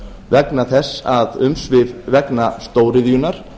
vegna þess að umsvif vegna stóriðjunnar